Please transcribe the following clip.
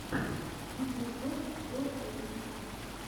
видеоблог гор аветисян